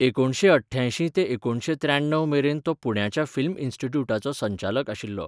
एकुणशे अठ्ठ्यांयशीं ते एकुणशे त्र्याण्णव मेरेन तो पुण्याच्या फिल्म इन्स्टिट्यूटाचो संचालक आशिल्लो.